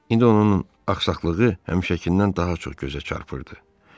İndi onun axsaqlığı həmişəkindən daha çox gözə çarpırdı.